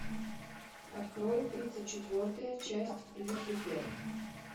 открой тридцать четвертая часть люцифер